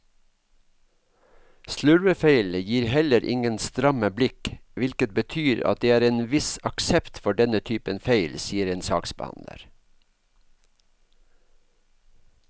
Slurvefeil gir heller ingen stramme blikk, hvilket betyr at det er en viss aksept for denne typen feil, sier en saksbehandler.